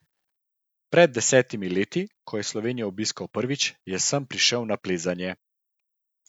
Pred desetimi leti, ko je Slovenijo obiskal prvič, je sem prišel na plezanje.